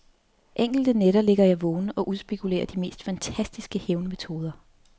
Enkelte nætter ligger jeg vågen og udspekulerer de mest fantastiske hævnmetoder.